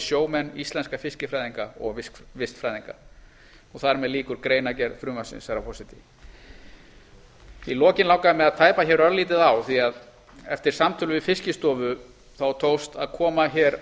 sjómenn íslenska fiskifræðinga og vistfræðinga þar með lýkur greinargerð frumvarpsins herra forseti í lokin langar mig að tæpa örlítið á því að eftir samtöl við fiskistofu tókst að koma